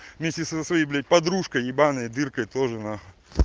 вместе со своей блять подружкой ебанной дыркой тоже нахуй